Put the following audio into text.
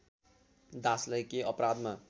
दासलाई के अपराधमा